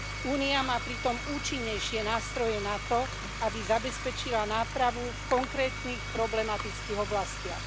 Únia má pritom účinnejšie nástroje na to, aby zabezpečila nápravu v konkrétnych problematických oblastiach.